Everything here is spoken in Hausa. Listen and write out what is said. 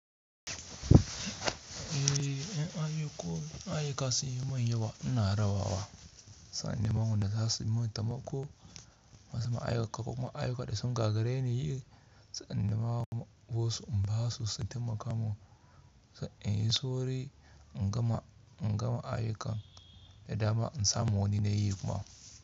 Eh, in ayuka, ayyuka sun yi min ya wa, ina raba wa, sai in nema wanda za su yi min temako, wasu ma ayyuka, ko kuma ayyuka da sun gagare ni, sai in nema wasu in ba su, su taimaka mun, sai in yi sauri in gama, in gama ayyukan, da dama in samu wani nayi kuma,